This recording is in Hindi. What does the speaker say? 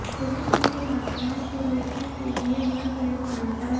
पुलिस को छात्राओं को रोकने के लिए बल प्रयोग करना पड़ा